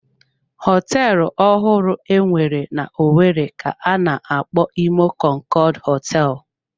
Họteelụ ọhụrụ enwere n'owerri ka-ana akpọ Imo konkood hoteelu.